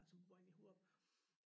Som bor inde i Hurup